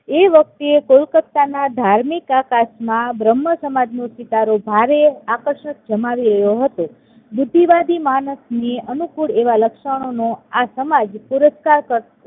એ વખતે કોલકાતાના ધાર્મિક આકાશમાં બ્રહ્મસમાજનો સિતારો ભારે આકર્ષણ જમાવી રહ્યો હતો. બુદ્ધિવાદી માણસને અનુકુળ એવા લક્ષણોનો આ સમાજ